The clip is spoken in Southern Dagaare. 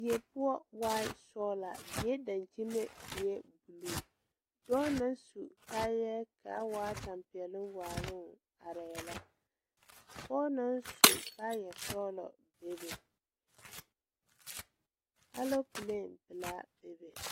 Die poɔ waai sɔglaa die dankyime eɛɛ bluu dɔɔ naŋ su kaayɛɛ kaa waa tampɛloŋ waaloŋ arɛɛ la pɔɔ naŋ su kaayɛ sɔglɔ bebe aloopɛlee pelaa bebe.